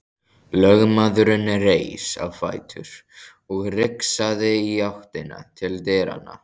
Lögmaðurinn reis á fætur og rigsaði í áttina til dyranna.